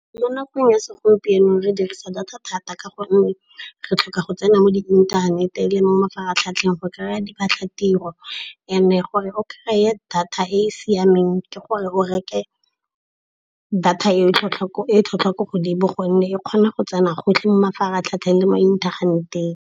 Mo nakong ya segompieno re dirisa data thata ka gonne re tlhoka go tsena mo inthaneteng le mo mafaratlhatlheng go kry-a diphatlatiro. And-e gore o kry-e data e e siameng ke gore o reke data e tlhotlhwa ko godimo, gonne e kgona go tsena gotlhe mo mafaratlhatlheng le mo inthaneteng